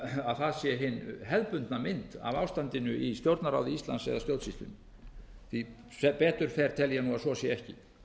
að það sé hin hefðbundna mynd af ástandinu í stjórnarráði íslands eða stjórnsýslunni sem betur fer tel ég að svo sé ekki